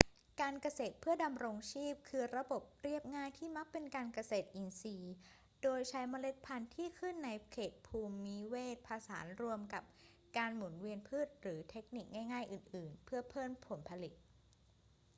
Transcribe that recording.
การเกษตรเพื่อดำรงชีพคือระบบเรียบง่ายที่มักเป็นการเกษตรอินทรีย์โดยใช้เมล็ดพันธุ์ที่ขึ้นในเขตภูมิเวศผสานรวมกับการหมุนเวียนพืชหรือเทคนิคง่าย ๆ อื่น ๆ เพื่อเพิ่มผลผลิต